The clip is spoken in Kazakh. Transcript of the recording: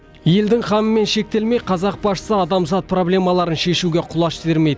елдің қамымен шектелмей қазақ басшысы адамзат проблемаларын шешуге құлаш сермейді